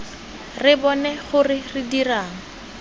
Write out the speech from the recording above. re bone gore re dirang